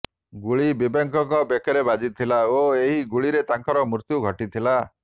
ଗୁଳି ବିବେକଙ୍କ ବେକରେ ବାଜିଥିଲା ଓ ଏହି ଗୁଳିରେ ତାଙ୍କର ମୃତ୍ୟୁ ଘଟିଥିଲା